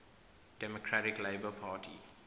democratic labour party